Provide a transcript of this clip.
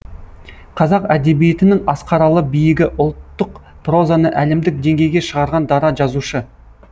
қазақ әдебиетінің асқаралы биігі ұлттық прозаны әлемдік деңгейге шығарған дара жазушы